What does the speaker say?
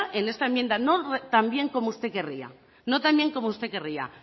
en esta enmienda no tan bien como usted querría no tan bien como usted querría